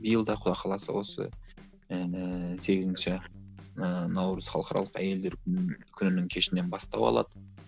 биыл да құдай қаласа осы ііі сегізінші ііі наурыз халықаралық әйелдер күні күнінің кешінен бастау алады